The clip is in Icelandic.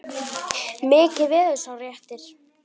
Mikill verður sá léttir.